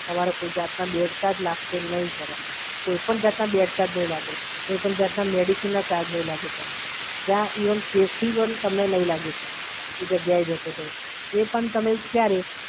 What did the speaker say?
તમારે કોઈપણ જાતના બેડ ચાર્જ લાગશે નહીં સર એમાં, કોઈપણ જાતના મેડિસિનનો ચાર્જ નહીં લાગે સાહેબ, ત્યાં ઇવન કેસ ફી પણ તમને નહીં લાગે, સર. એ બધુ આઈ જશે, સર. એ પણ તમે ક્યારે